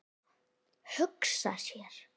Hugsa sér!